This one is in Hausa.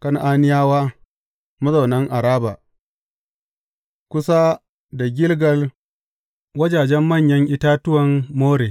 Kan’aniyawa mazaunan Araba, kusa da Gilgal wajajen manyan itatuwan More.